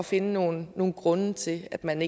finde nogle nogle grunde til at man